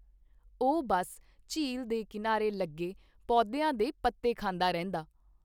ਓਹ ਬੱਸ ਝੀਲਦੇ ਕਿਨਾਰੇ ਲੱਗੇ ਪੋਦਿਆ ਦੇ ਪੱਤੇ ਖਾਂਦਾ ਰਹਿੰਦਾ।